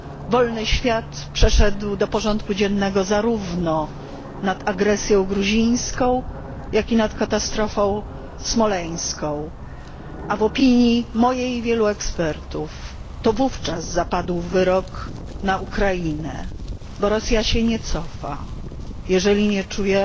Wolny świat przeszedł do porządku dziennego zarówno nad agresją w Gruzji, jak i nad katastrofą smoleńską, a w opinii mojej i wielu ekspertów to wówczas zapadł wyrok na Ukrainę bo Rosja się nie cofa, jeżeli nie czuje